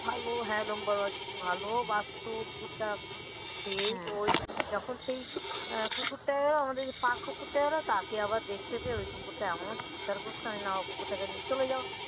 হ্যাঁ লোম বড় বড় কুকুরটা কি ভালো বাসত কুকুরটা সেই ওই যখন সেই কুকুরটা আমাদের পাফ কুকুরটা এল তাকে আবার দেখতে পেয়ে ওই কুকুরটা এমনও চিৎকার করতো আমি না কুকুরটাকে নিয়ে চলে যাও